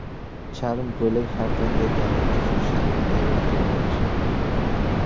Charm ko‘ylak har qanday tana tuzilishidagi ayolga yarashadi.